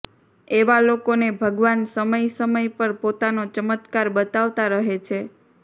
એવા લોકોને ભગવાન સમય સમય પર પોતાનો ચમત્કાર બતાવતા રહે છે